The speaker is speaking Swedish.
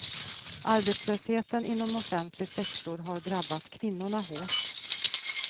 Arbetslösheten inom offentlig sektor har drabbat kvinnorna hårt.